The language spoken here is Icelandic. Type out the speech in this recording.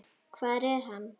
Hvar er hann?